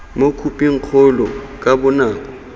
mo khophing kgolo ka bonako